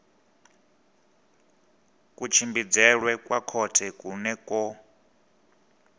kutshimbidzelwe kwa khothe ku kone